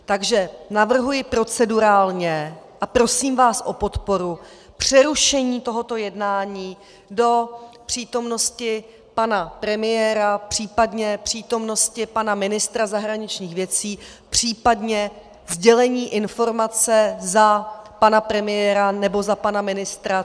Takže navrhuji procedurálně a prosím vás o podporu přerušení tohoto jednání do přítomnosti pana premiéra, případně přítomnosti pana ministra zahraničních věcí, případně sdělení informace za pana premiéra nebo za pana ministra.